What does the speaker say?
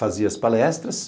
Fazia as palestras,